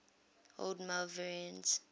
old malvernians